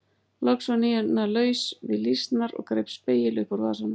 Loks var Nína laus við lýsnar og greip spegil upp úr vasanum.